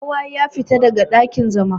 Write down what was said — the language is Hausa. Ko wa ya fita daga dakin-zama!